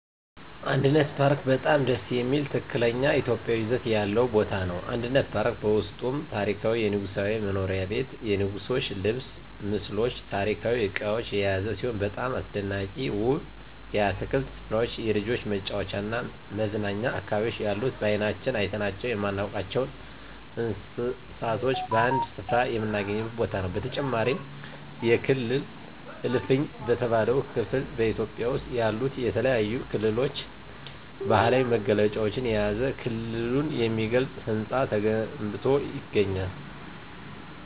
አንድነት ፓርክ በጣም ደስ የሚል ትክክለኛ ኢትዮጵያዊ ይዘት ያለው ቦታ ነው። አንድነት ፓርክ በውስጡም ታሪካዊ የንጉሣዊ መኖሪያ ቤት የንጉሥች ልብስ ምስሎች ታሪካዊ እቃዎች የያዘ ሲሆን በጣም አስደናቂና ውብ የአትክልት ስፍራዎች የልጆች መጫወቻና መዝናኛ አካባቢዎች ያሉት በአይናችን አይተናቸው የማናውቃቸውን እንስሳቶች በአንድ ስፍራ የምናገኝበት ቦታ በተጨማሪም የክልል እልፍኝ በተባለው ክፍል በኢትዮጵያ ውስጥ ያሉትን የተለያዩ ክልሎች ባህላዊ መገለጫዎችን የያዘ ክልሉን የሚገልጽ ህንፃ ተገንብቶ ይገኛል።